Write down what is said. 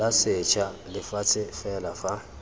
la setsha lefatshe fela fa